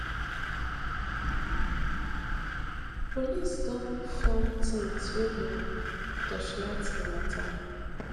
police don form teams wey go torchlight di mata